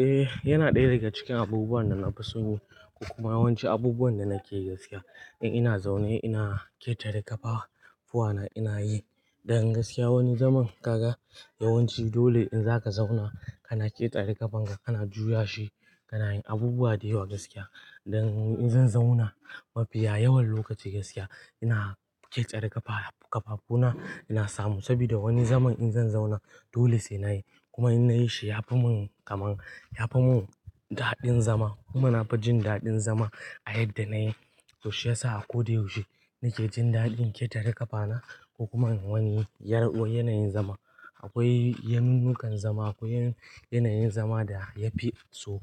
Eh, yana ɗaya daga cikin abubuwan da na fi so ko kuma yawanci abubuwan da nake yi gaskiya. In ina zaune ina ƙetare kafafuwana ina yi. Dan gaskiya wani zaman kaga yawanci dole in zaka zauna kana ƙetare ƙafanka kana juyashi kana yin abubuwa da yawa gaskiya. Dan in zan zauna mafiya yawan lokaci gaskiya ina ƙetare ƙafafu na ina samu saboda wani zaman in zan zauna dole sai na yi. Kuma in nayi shi yafi mun kaman yafi mun daɗin zama, kuma nafi jin daɗin zama a yadda nayi to shiyasa a ko da yaushe nake jin daɗin ketare ƙafana ko kuma in yi wani, yanayin zama. Akwai yanunnukan zama akwai yanayin zama da ya fi. So,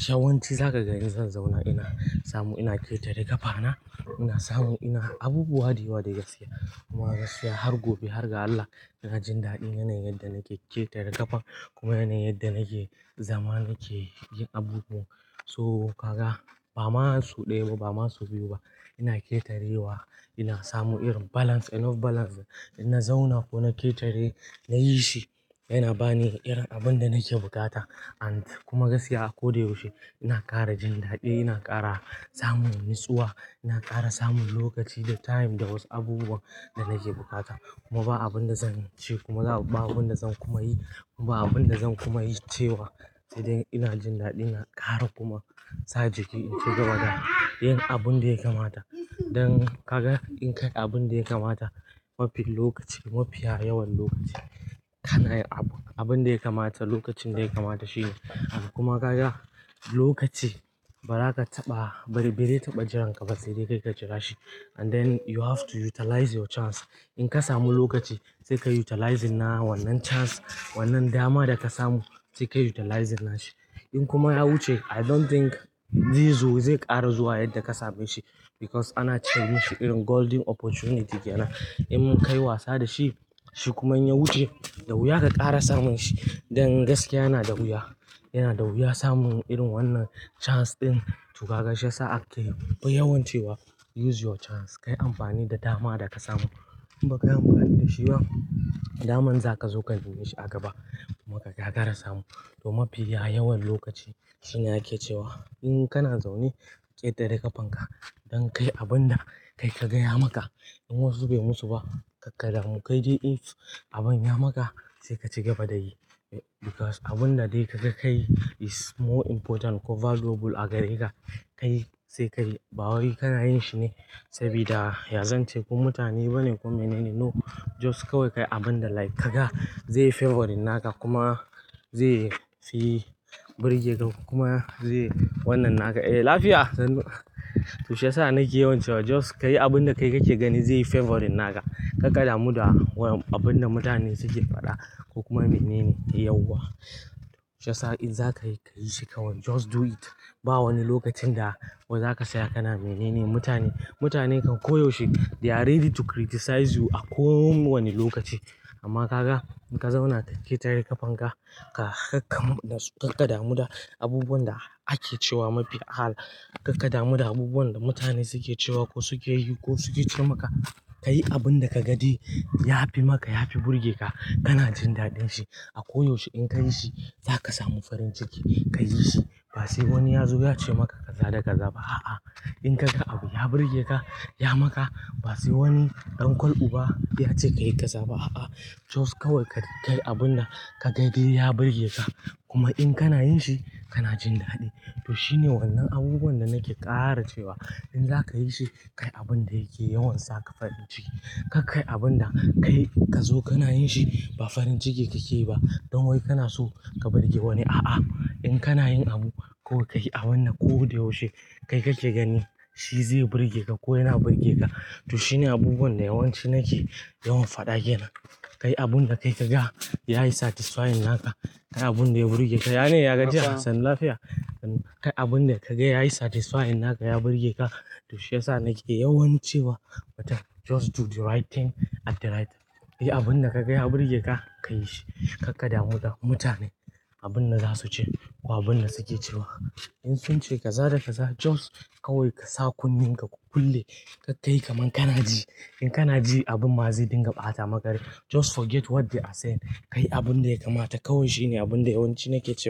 yawanci zaka ga in zan zauna ina samu ina ƙetare ƙafana toh ina samu ina abubuwa da yawa dai gaskiya. Kuma gaskiya har gobe har ga Allah ina jin daɗin yanayin yanda nake ƙetare kafan, kuma yanayin yanda nake zama nake yin abubuwa. So ka ga ba ma sau ɗaya ba ma sau biyu ba ina ƙetarewa ina samu irin balance enough balance. Inna zauna ko na ƙetare, na yi shi yana ba ni irin abin da nake buƙata and kuma gaskiya a koda yaushe ina ƙara jin daɗi ina ƙara samun natsuwa ina ƙara samun lokaci da time da wasu abubuwan da nake buƙata. Kuma ba abun da zan ce kuma ba abun da zan kuma yi ba abun da zan kuma yi cewa sai dai ina jin daɗi ina ƙara kuma sa jiki ya ci gaba da yin abun da ya kamata. Dan ka ga in ka yi abin da ya kamata mafi lokaci mafiya yawan lokaci kana yin abun da ya kamata lokacin da ya kamata shi ne. Kuma ka ga lokaci ba zaka taɓa ba zai taɓa jiran ka ba, sai dai kai ka jira shi. And then you have to utilize your chance. In ka samu lokaci sai ka utilizing na wannan chance wannan dama da ka samu sai ka utilizing na shi. In kuma ya wuce I don't think zai zo zai ƙara zuwa yadda ka same shi because ana ce mashi irin golden opportunity kenana. In ka yi wasa da shi shi kuma in ya wuce, da wuya ka ƙara samun shi. Dan gaskiya yana da wuya, yana da wuya samun irin wannan chance din. Toh kaga shiyasa ake yawan cewa use your chance, kayi amfani da dama da ka samu. In ba ka yi amfani da shi bah, daman zaka zo ka neme shi a gaba. Kuma ka gagara samu. Toh mafiya yawan lokaci shine ake cewa in kana zaune ka ƙetare ƙafan ka don ka yi abin da kai ka ga ya maka. In wasu bai musu ba ka karka damu kai dai in abin ya maka sai ka ci gaba da yi because abun da dai ka ga kai is more important ko valuable a gare ka. Kai sai ka yi, ba wai kana yin shi ne saboda yazan ce ko mutane bane ko menene. No, just kawai ka yi abin da like ka ga zai yi favoring naka kuma zai fi burge ka kuma zai wannan naka. Eh lafiya sannu. Toh shi yasa nake yawan cewa just kayi abin da kai kake gani zai yi favoring naka. Kar ka damu da abun da mutane suke faɗa ko kuma menene yauwa. Shiyasa in zaka yi ka yi shi kawai just do it. Ba wani lokacin da zaka tsaya kana menene mutane. Mutane kan ko yaushe they are ready to criticize you a kowanne lokaci. Amma ka ga in ka zauna ka ƙetare ƙafan ka, kar ka damu da abubuwan da ake cewa mafi ahala. Kar ka damu da abubuwan da mutane suke cewa ko suke yi ko suke ce maka. Ka yi abin da ka ga dai ya fi maka ya fi burge ka. Kana jin daɗin shi a koyaushe in ka yi shi za ka sami farin ciki. Ka yi shi ba sai wani ya zo ya ce maka kaza da kaza ba. A'a, in ka ga abu ya burge ka, ya maka ba sai wani ɗan ƙwaluba ya ce ka yi ka zaba. A'a, just kawai ka kayi abun da ka ga dai ya burge ka kuma in kana yin shi kana jin daɗi. Toh shine wannan abubuwan da nake ƙara cewa in za ka yi shi, ka yi abin da yake yawan saka farin ciki. Kar kayi abin da kai ka zo kana yin shi ba farin ciki kake yi ba don wai kana so ka burge wani. A'a, in kana yin abu kawai ka yi a wannan ko da yaushe kai kake gani shi zai burge ka ko yana burge ka. To shine abubuwan da yawanci nake yawan faɗa ke nan. Ka yi abun da kai ka ga ya yi satisfying naka. Ka yi abun da ya burge ka. Ya ne ya gajiya. Sannu lafiya. Kayi abun da kaga yayi satisfying naka ya burge ka to shiyasa nake yawan cewa mutum just do the right thing at the right time. Ka yi abun da ka ga ya burge ka, ka yi shi. Ka ƙaddamu da mutane abun da za su ce ko abun da suke cewa. In sun ce ka sa da ka sa just kawai ka sa kunnen ka ku kulle. Kar kayi kaman kana ji. In kana ji abun ma zai dinga ɓata maka rai just forget what they are saying. Ka yi abun da ya kamata kawai shine abun da yawanci nake cewa.